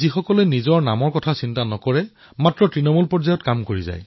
তেওঁ কচ্চৰ পৰম্পৰাগত ৰোগন চিত্ৰকলাক পুনৰুজ্জীৱিত কৰাৰ অদ্ভুত কাম কৰিছে